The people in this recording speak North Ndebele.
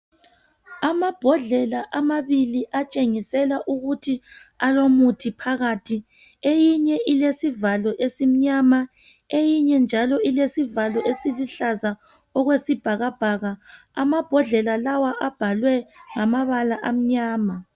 Amabhodlela amabili atshengisela ukuthi alomuthi phakathi. Eyinye ilesivalo esimnyama eyinye njalo ilesivalo esiluhlaza okwesibhakabhaka. Amabhodlela lawa abhalwe ngamabala amnyama.